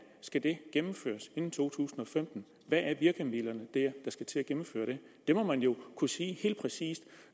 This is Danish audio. skal det gennemføres inden 2015 hvad er virkemidlerne der skal til at gennemføre det det må man jo kunne sige helt præcist